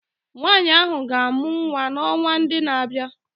Nwanyị ahụ ga-amụ nwa n'ọnwa ndị na-abịa